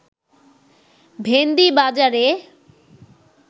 ভেন্দি বাজারে